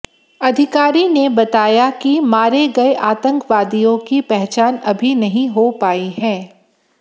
अधिकारी ने बताया कि मारे गए आतंकवादियों की पहचान अभी नहीं हो पाई है